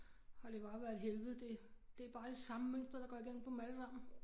Har det bare været et helvede det det bare det samme mønster der går igen på dem alle sammen